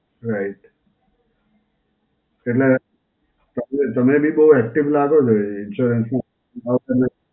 right. એટલે તમે બી બહું active લાગો છો insurance માં